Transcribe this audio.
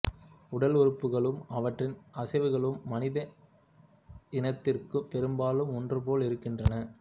உடல் உறுப்புகளும் அவற்றின் அசைவுகளும் மனித இனத்திற்குப் பெரும்பாலும் ஒன்றுபோல் இருக்கின்றன